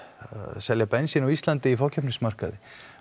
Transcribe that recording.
selja bensín á Íslandi í fákeppnismarkaði